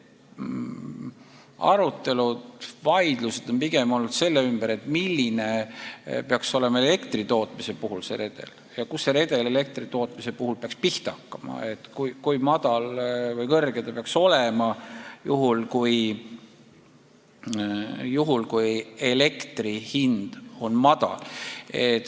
Arutelud, vaidlused on pigem olnud selle ümber, milline peaks elektri tootmise puhul see redel olema, kust see redel elektritootmise puhul peaks pihta hakkama: kui madal või kõrge see peaks olema, juhul kui elektri hind on madal.